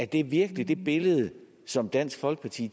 det virkelig det billede som dansk folkeparti